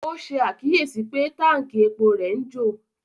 Ó ṣàkíyèsí pé Tánkì epo rẹ̀ ń jò